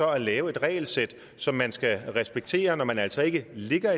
at lave et regelsæt som man skal respektere når man altså ikke ligger